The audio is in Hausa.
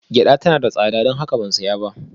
Gyada tana da tsada, don haka ban saya ba